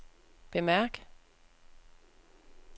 bemærk